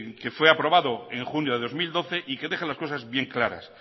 que fue aprobado en junio de dos mil doce y que deja las cosas bien claras